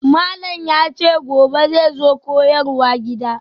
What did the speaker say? Malam yace gobe zai zo koyarwa gida.